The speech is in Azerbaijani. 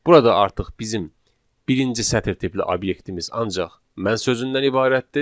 Burada artıq bizim birinci sətir tipli obyektimiz ancaq mən sözündən ibarətdir.